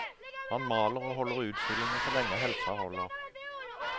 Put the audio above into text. Han maler og holder utstillinger så lenge helsen holder.